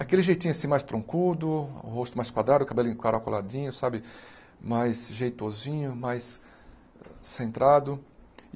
Aquele jeitinho assim mais troncudo, o rosto mais quadrado, o cabelinho encaracoladinho sabe, mais jeitosinho, mais centrado.